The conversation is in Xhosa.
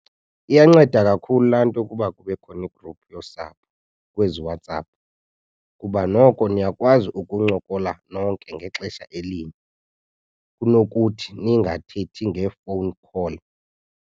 Iyanceda kakhulu laa nto ukuba kube khona igruphu yosapho kwezi WhatsApp kuba noko niyakwazi ukuncokola nonke ngexesha elinye kunokuthi ningathethi ngee-phone call.